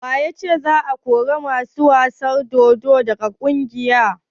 Wa ya ce za a kori ƙungiyar masu wasan dodo daga kauyen?